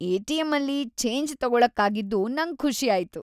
ಎ.ಟಿ.ಎಂ.ಅಲ್ಲಿ change ತಗೊಳಕ್ಕಾಗಿದ್ದು ನಂಗ್‌ ಖುಷಿ ಆಯ್ತು.